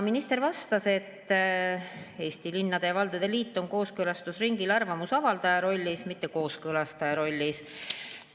Minister vastas, et Eesti Linnade ja Valdade Liit on kooskõlastusringil arvamuse avaldaja, mitte kooskõlastaja rollis.